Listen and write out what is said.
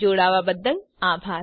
જોડાવા બદ્દલ આભાર